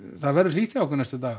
það verður hlýtt hjá okkur næstu daga